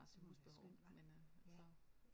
Det var da skønt hva ja